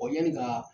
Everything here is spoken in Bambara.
yani ka